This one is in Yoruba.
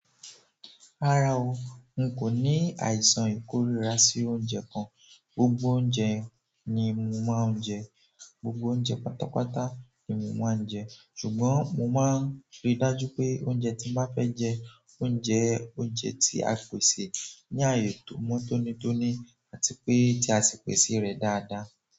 Rárá o, n kò ní àìsàn ìkórìíra sí oúnjẹ kan. Gbogbo oúnjẹ ni mo máa ń jẹ, gbogbo oúnjẹ pátápátá ni mo máa ń jẹ. Ṣùgbọ́n mo máa ń rí dájú pé oúnjẹ tí mo bá fẹ́ jẹ, ó jẹ oúnjẹ tí a pèsè ní àyè tó mọ́ tónítóní àti pé tí a sì pèsè rẹ̀ dáadáa.